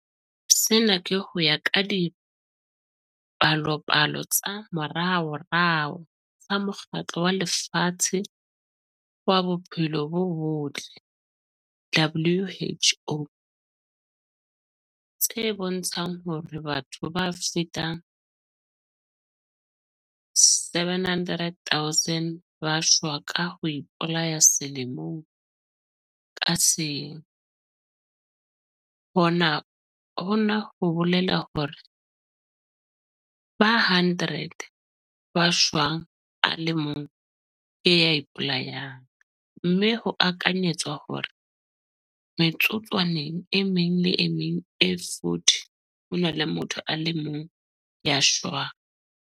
Sena ke ho ya ka dipalopalo tsa moraorao tsa Mokgatlo wa Lefatshe wa Bophelo bo Botle, WHO, tse bontshang hore batho ba fetang 700 000 ba shwa ka ho ipolaya selemo ka seng - hona ho bolela hore bathong ba 100 ba shwang a le mong ke ya ipolayang, mme ho akanyetswa hore metsotswaneng e meng le e meng e 40 ho na le motho a le mong ya shwang.